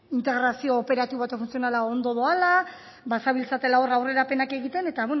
integrazio operatibo eta funtzionala ondo doala bazabiltzatela hor aurrerapenak egiten eta